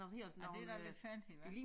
Ja det da lidt fancy hva